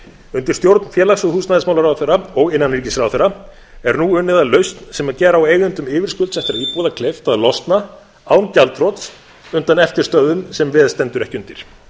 undir stjórn félags og húsnæðismálaráðherra og innanríkisráðherra er nú unnið að lausn sem gera á eigendum yfirskuldsettra íbúða kleift að losna án gjaldþrots undan eftirstöðvum sem veð stendur ekki undir